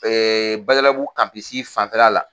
Badabugu kampisi fanfɛ la la.